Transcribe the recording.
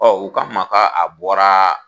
Ɔ k'an ma ka a bɔraa